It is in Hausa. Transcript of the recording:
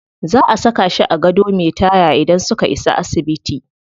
Za a saka shi a gado me taya idan suka isa asibiti.